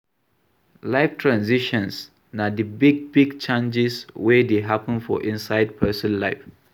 Life transitions na di big big changes wey dey happen for inside person life